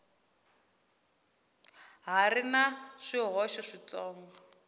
ha ri na swihoxo switsongo